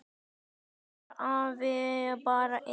Stundum var afi bara einn.